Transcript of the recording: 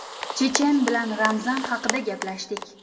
Chechen bilan Ramzan haqida gaplashdik.